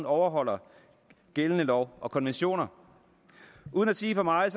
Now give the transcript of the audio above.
overholder gældende love og konventioner uden at sige for meget